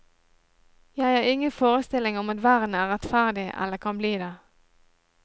Jeg har ingen forestilling om at verden er rettferdig eller kan bli det.